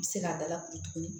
I bɛ se k'a da lakuru tuguni